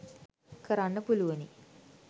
කරන්න පුළුවනි